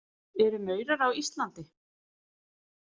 Eru maurar á Íslandi?